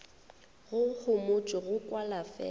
go homotšwe go kwala fela